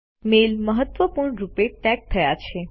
mail મહત્વપૂણ રૂપે tag થયા છે